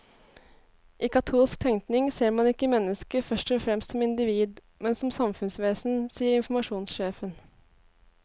I katolsk tenkning ser man ikke mennesket først og fremst som individ, men som samfunnsvesen, sier informasjonssjefen.